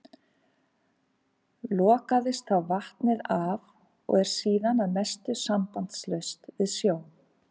Lokaðist þá vatnið af og er síðan að mestu sambandslaust við sjó.